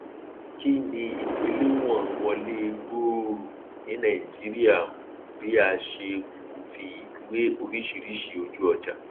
kí ni ìgbéléwọn wọlé gbooro ní naìjíríà um bí a ṣe um fi wé oríṣìíríṣìí ojúọjà